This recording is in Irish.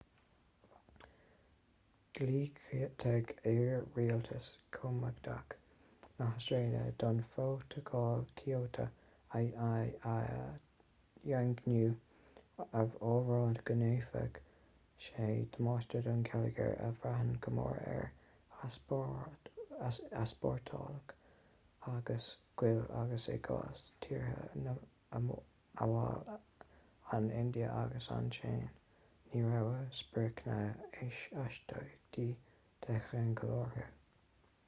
dhiúltaigh iar-rialtas coimeádach na hastráile don phrótacal kyoto a dhaingniú á rá go ndéanfadh sé damáiste don gheilleagar a bhraitheann go mór ar easpórtálacha guail agus i gcás tíortha amhail an india agus an tsín ní raibh spriocanna astaíochtaí de cheangal orthu